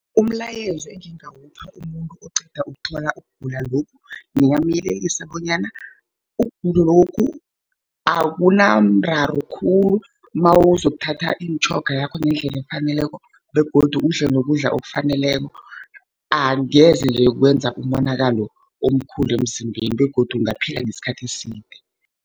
Umlayezo engingawupha umuntu oqeda ukuthola ukugula lokhu, ngingamyelelisa bonyana ukugulokhu akunamraro khulu, nawuzokuthatha imitjhoga yakho ngendlela efaneleko, begodu udle nokudla okufaneleko. Angezenje kwenza umonakalo omkhulu emzimbeni, begodu ungaphila nesikhathi eside.